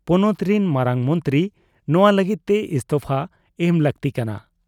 ᱯᱚᱱᱚᱛ ᱨᱤᱱ ᱢᱟᱨᱟᱝ ᱢᱚᱱᱛᱨᱤ ᱱᱚᱶᱟ ᱞᱟᱹᱜᱤᱫ ᱛᱮ ᱤᱥᱛᱚᱯᱷᱟ ᱮᱢ ᱞᱟᱹᱠᱛᱤ ᱠᱟᱱᱟ ᱾